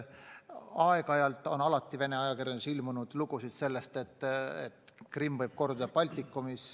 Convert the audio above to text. Aeg-ajalt on ikka Vene ajakirjanduses ilmunud lugusid sellest, et Krimm võib korduda Baltikumis.